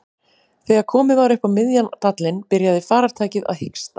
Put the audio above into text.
Þegar komið var upp á miðjan dalinn byrjaði farartækið að hiksta.